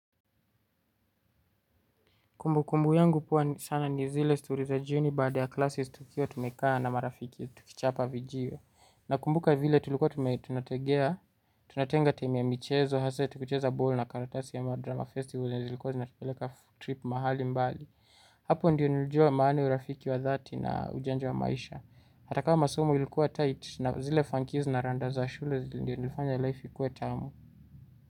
Kumbu kumbu yangu huwa sana ni zile story za jioni baada ya classes tukiwa tumekaa na marafiki ya tukichapa vijiwe. Nakumbuka vile tulikuwa tunategea, tunatenga timu ya michezo, hasa tukicheza ball na karatasi ama drama festival na zilikuwa zinatupeleka trip mahali mbali. Hapo ndiyo nilijua maana ya urafiki wa dhati na ujanja wa maisha. Hata kama masomo ilikuwa tight na zile funkie na rada za shule ndiyo zilifanya life ikuwe tamu.